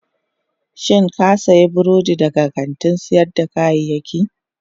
Shin ka sayi burodin daga kantin sayar da kayayyaki?